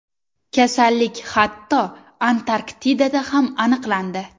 Kasallik hatto, Antarktidada ham aniqlandi .